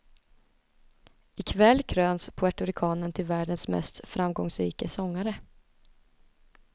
I kväll kröns puertoricanen till världens mest framgångsrike sångare.